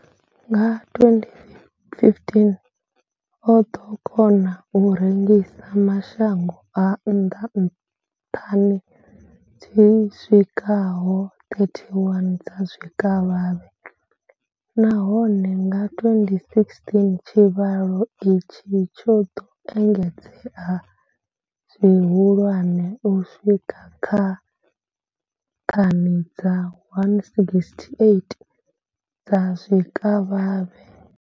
Nga 2015, o ḓo kona u rengisela mashango a nnḓa thani dzi swikaho 31 dza zwikavhavhe, nahone nga 2016 tshivhalo itshi tsho ḓo engedzea zwihulwane u swika kha thani dza 168 dza zwikavhavhe.